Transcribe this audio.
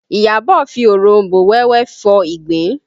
Iyabọ̀ fi oronbo wẹ́wẹ́ fọ ìgbín